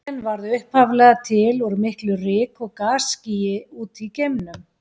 Sólin varð upphaflega til úr miklu ryk- og gasskýi úti í geimnum.